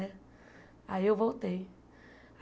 Né aí eu voltei.